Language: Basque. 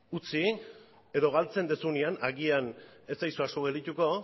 utzi edo galtzen duzunean agian ez zaizue asko geldituko